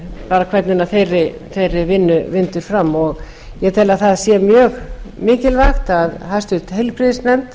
miðað við hvernig þeirri vinnu vindur fram ég tel að það sé mjög mikilvægt að háttvirtur heilbrigðisnefnd